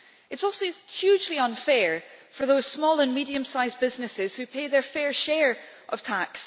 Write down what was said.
It is also hugely unfair for those small and medium-sized businesses that pay their fair share of tax.